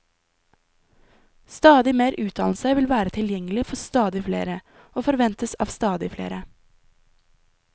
Stadig mer utdannelse vil være tilgjengelig for stadig flere, og forventes av stadig flere.